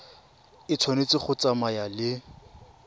e tshwanetse go tsamaya le